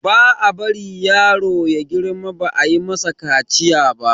ba a bari yaro ya girma ba ayi masa kaciya ba